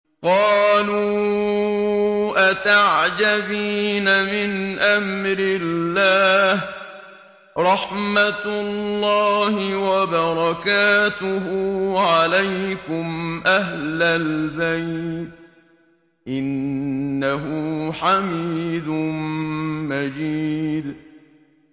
قَالُوا أَتَعْجَبِينَ مِنْ أَمْرِ اللَّهِ ۖ رَحْمَتُ اللَّهِ وَبَرَكَاتُهُ عَلَيْكُمْ أَهْلَ الْبَيْتِ ۚ إِنَّهُ حَمِيدٌ مَّجِيدٌ